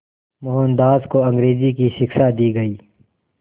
मोहनदास को अंग्रेज़ी की शिक्षा दी गई